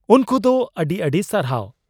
ᱩᱱᱠᱩ ᱫᱚ ᱟᱹᱰᱤ ᱟᱹᱰᱤ ᱥᱟᱨᱦᱟᱣ ᱾